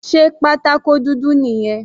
Sé pátákó dúdú nìyẹn?